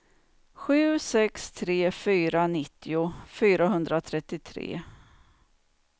sju sex tre fyra nittio fyrahundratrettiotre